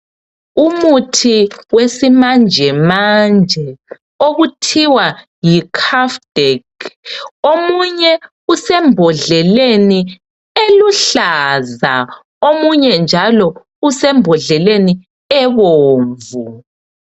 Umuthi wesimanjemanje okuthiwa yi Kufdek omunye usembodleleni eluhlaza omunye njalo usembodleleni ebomvu.